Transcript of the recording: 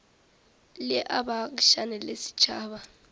le a baagišane le setšhaba